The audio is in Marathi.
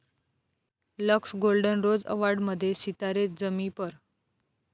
लक्स गोल्डन रोज अॅवाॅर्ड'मध्ये सितारे जमी पर!